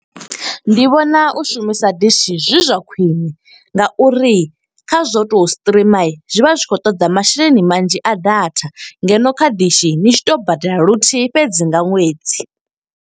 Ndi vhona u shumisa dishi zwi zwa khwiṋe nga uri kha zwo u to streamer, zwi vha zwi khou toḓa masheleni manzhi a datha. Ngeno kha dishi ni tshi to badela luthihi fhedzi nga ṅwedzi.